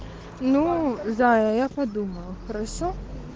ну зая я подумала хорошо